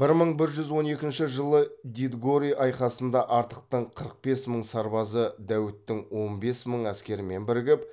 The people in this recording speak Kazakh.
бір мың бір жүз он екінші жылы дидгори айқасында артықтың қырық бес мың сарбазы дәуіттің он бес мың әскерімен бірігіп